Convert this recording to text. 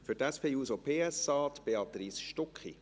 Für die SP-JUSO-PSA spricht Béatrice Stucki.